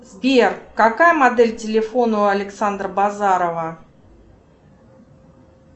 сбер какая модель телефона у александра базарова